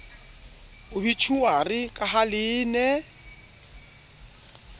obitjhuari ka ha le ne